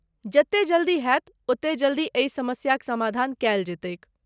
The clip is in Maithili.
जते जल्दी हेत ओते जल्दी एहि समस्याक समाधान कयल जयतैक ।